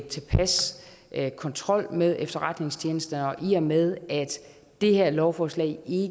tilpas kontrol med efterretningstjenesterne og i og med at det her lovforslag